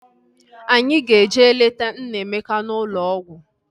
Anyị ga-eje leta Nnaemeka n'ụlọ ọgwụ